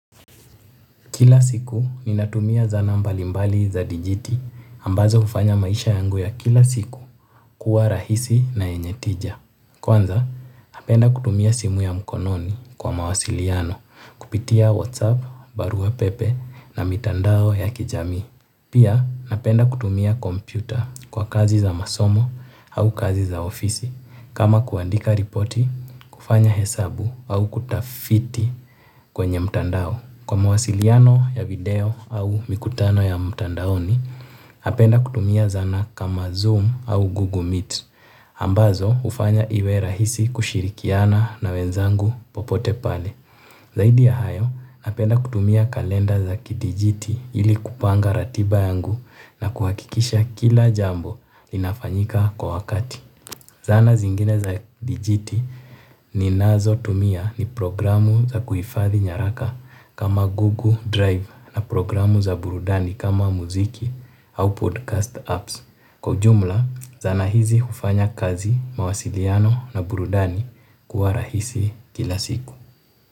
Kila siku ninatumia zana mbalimbali za dijiti ambazo hufanya maisha yangu ya kila siku kuwa rahisi na yenye tija. Kwanza napenda kutumia simu ya mkononi kwa mawasiliano kupitia whatsapp, barua pepe na mitandao ya kijamii. Pia napenda kutumia kompyuta kwa kazi za masomo au kazi za ofisi kama kuandika ripoti, kufanya hesabu au kutafiti kwenye mtandao. Kwa mawasiliano ya video au mikutano ya mtandaoni, napenda kutumia zana kama Zoom au Google Meet. Ambazo hufanya iwe rahisi kushirikiana na wenzangu popote pale. Zaidi ya hayo, napenda kutumia kalenda za kidijiti ili kupanga ratiba yangu na kuhakikisha kila jambo linafanyika kwa wakati. Zana zingine za dijiti ninazotumia ni programu za kuhifadhi nyaraka kama Google Drive na programu za burudani kama muziki au podcast apps. Kwa ujumla, zana hizi hufanya kazi, mawasiliano na burudani kuwa rahisi kila siku.